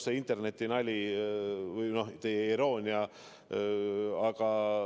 See interneti nali, mille üle te ironiseerisite ...